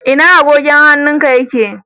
Ina agogon hannun ka?